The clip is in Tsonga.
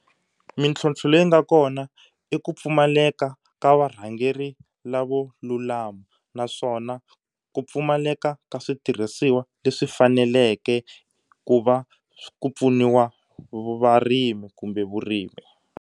Mintlhontlho leyi nga kona i ku pfumaleka ka varhangeri lavo lulama naswona ku pfumaleka ka switirhisiwa leswi faneleke ku va ku pfuniwa varimi kumbe vurimi.